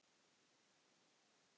Nú, er það?